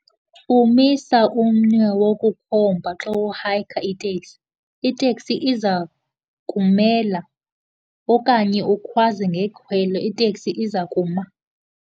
Umisa umnwe wokukhomba xa uhayikha iteksi, iteksi iza kumela. Okanye ukhwaze ngekhwelo, iteksi iza kuma.